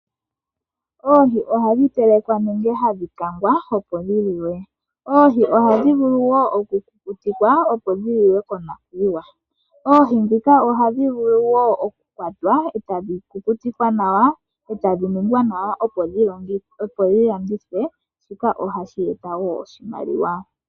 Oohi oha dhi telekwa nenge ha dhi kangwa opo dhi liwe. Oohi oha dhi vulu woo oku kukutikwa opo dhi liwe konakuyiwa. Oohi ndhika oha dhi vulu woo oku kwatwa etadhi landithwa opo kumonike oshimaliwa.